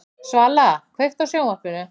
Svala, kveiktu á sjónvarpinu.